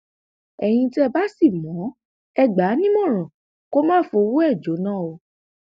ẹyin tẹ ẹ bá sì mọ ọn ẹ gbà á nímọràn kó má fọwọ ẹ jóná o